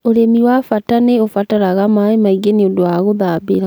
ũrĩmĩ wa bata nĩubataraga maĩ maingĩ nĩundu wa guthambira